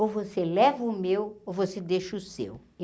Ou você leva o meu, ou você deixa o seu.